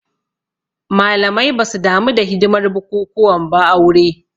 Malamai basu damu da hidimar bukukuwan ba aure